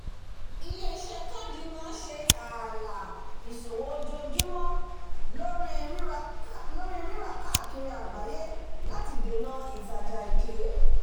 ilé-iṣẹ káàdì gbèsè máa ń ṣe ààlà ìṣòwò ojoojúmọ lóri rírà káàkiri àgbáyé láti dènà ìtajà èké